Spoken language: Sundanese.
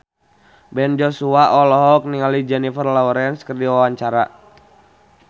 Ben Joshua olohok ningali Jennifer Lawrence keur diwawancara